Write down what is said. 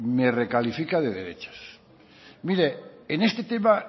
me recalifica de derechas mire en este tema